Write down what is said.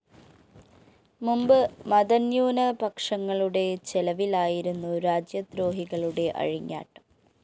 മുമ്പ് മതന്യൂനപക്ഷങ്ങളുടെ ചെലവിലായിരുന്നു രാജ്യദ്രോഹികളുടെ അഴിഞ്ഞാട്ടം